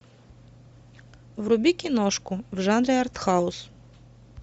вруби киношку в жанре артхаус